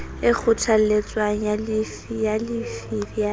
e kgothaletswang ya llifi ya